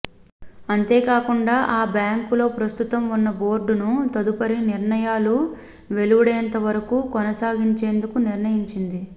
అంతేకాకుండ ఆబ్యాంకులోప్రస్తుతం ఉన్న బోర్డును తదుపరి నిర్ణయాలు వెలువడేంతవరకూ కొనసాగించేందుకు నిర్ణయించింది